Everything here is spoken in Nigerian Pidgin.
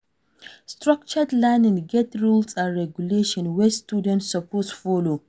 Structured learning get rules and regulations wey students suppose follow